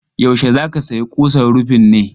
Yaushe za ka sayi kusan rufin ne?